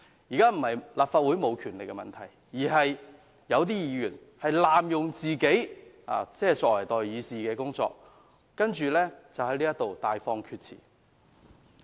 現時並非立法會沒有權力，而是有些議員濫用他們作為代議士的身份，在此大放厥辭。